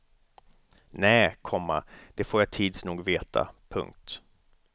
Nä, komma det får jag tids nog veta. punkt